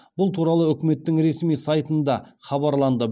бұл туралы үкіметтің ресми сайтында хабарланды